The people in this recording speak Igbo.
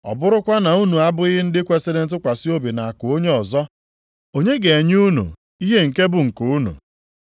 Ọ bụrụkwa na unu abụghị ndị kwesiri ntụkwasị obi nʼakụ onye ọzọ, onye ga-enye unu ihe nke bụ nke unu?